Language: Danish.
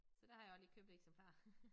Så der har jeg også lige købt eksemplar